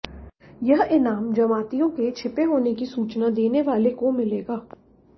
यह इनाम जमातियों के छिपे होने की सूचना देने वाले को मिलेगा